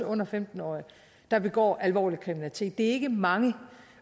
under femten årige der begår alvorlig kriminalitet det er ikke mange